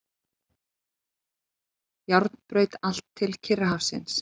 Járnbraut allt til Kyrrahafsins.